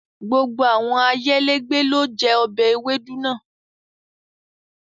Gbogbo awọn ayélẹ̀gbẹ̀ lo jẹ obẹ̀ èwédú naa